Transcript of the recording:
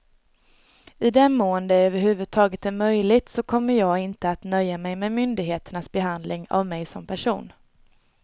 I den mån det över huvud taget är möjligt så kommer jag inte att nöja mig med myndigheternas behandling av mig som person.